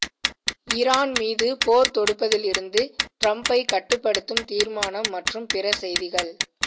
Iran மீது போர் தொடுப்பதிலிருந்து டிரம்பை கட்டுப்படுத்தும் தீர்மானம் மற்றும் பிற செய்திகள்